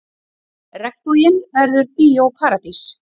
Regnboginn verður Bíó Paradís